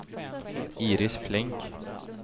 Iris Flink